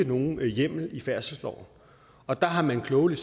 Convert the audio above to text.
nogen hjemmel i færdselsloven og der har man klogelig